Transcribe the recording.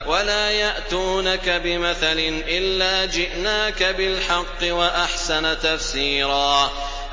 وَلَا يَأْتُونَكَ بِمَثَلٍ إِلَّا جِئْنَاكَ بِالْحَقِّ وَأَحْسَنَ تَفْسِيرًا